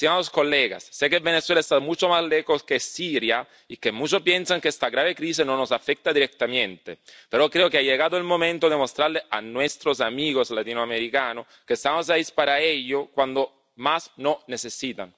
Señorías, sé que Venezuela está mucho más lejos que Siria y que muchos piensan que esta grave crisis no nos afecta directamente, pero creo que ha llegado el momento de mostrarles a nuestros amigos latinoamericanos que estamos ahí para ellos cuando más nos necesitan.